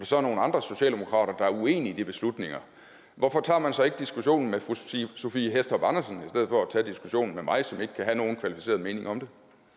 så er nogle andre socialdemokrater der er uenige i de beslutninger hvorfor tager man så ikke diskussionen med fru sophie hæstorp andersen i for at tage diskussionen med mig som ikke kan have nogen kvalificeret mening om det